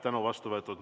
Tänu on vastu võetud.